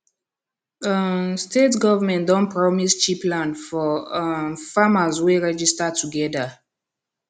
um state government don promise cheap land for um farmers wey register together